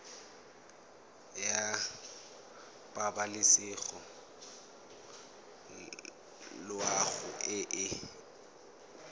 ya pabalesego loago e e